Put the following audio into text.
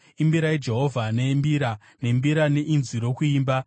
imbirai Jehovha nembira, nembira nenzwi rokuimba,